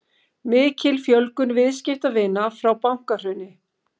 Mikil fjölgun viðskiptavina frá bankahruni